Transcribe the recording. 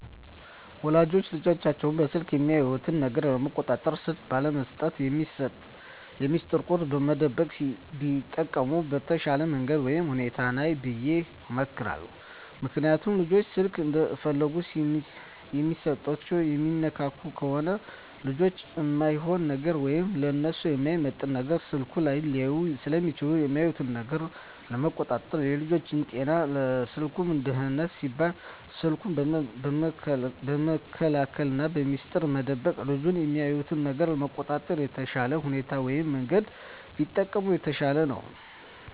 ወላጆች ልጆቻቸውን በስልክ የሚያዩት ነገር ለመቆጣጠር ስልክ ባለመስጠት፣ በሚስጥር ቁጥር መደበቅ ቢጠቀሙ የተሻለ መንገድ ወይም ሁኔታ ነው ብየ እመክራለሁ። ምክንያቱም ልጆች ስልክ እንደፈለጉ የሚሰጡና የሚነካኩ ከሆነ ልጆች እማይሆን ነገር ወይም ለነሱ የማይመጥን ነገር ስልኩ ላይ ሊያዩ ስለሚችሉ የሚያዩትን ነገር ለመቆጣጠር ና ለልጆቹም ጤና ለስልኩም ደህንነት ሲባል ስልኩን በመከልከልና በሚስጥር መደበቅ ልጆች የሚያዩትን ነገር ለመቆጣጠር የተሻለ ሁኔታ ወይም መንገድ ቢጠቀሙ የተሻለ ነው።